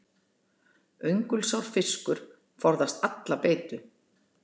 Öngulsár fiskur forðast alla beitu.